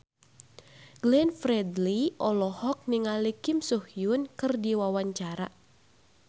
Glenn Fredly olohok ningali Kim So Hyun keur diwawancara